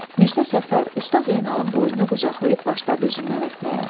Mirzə Səfər Usta Zeynalın boynunu qucaqlayıb başladı üzündən öpməyə.